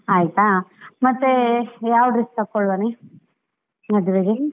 ಆಯ್ತಾ, ಮತ್ತೆ ಯಾವ dress ಹಾಕೊಳ್ಳುವನೇ ಮದುವೆಗೆ.